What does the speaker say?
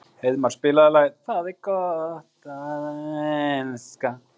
Heiðmar, spilaðu lagið „Það er gott að elska“.